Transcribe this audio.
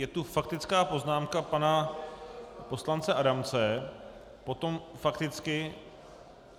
Je tu faktická poznámka pana poslance Adamce, potom fakticky?